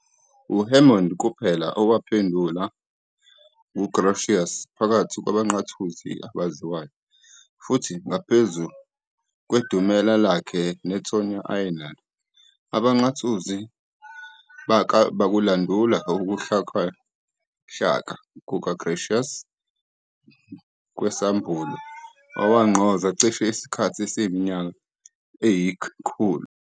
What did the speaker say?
UHammond kuphela owaphendulwa nguGrotius phakathi kwabaNqathuzi abaziwayo, futhi ngaphezu kwedumela lakhe nethonya ayenalo, abaNqathuzi bakulandula ukuhlakahla kukaGrotius kwesAmbulo, okwagqoza cishe isikhathi esiyiminyaka eyi-100.